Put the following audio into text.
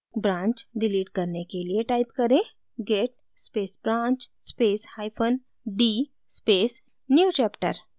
branch delete करने के लिए type करें git space branch space hyphen d space newchapter